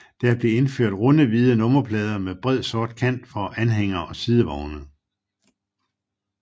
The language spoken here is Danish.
Der blev indført runde hvide nummerplader med bred sort kant for anhængere og sidevogne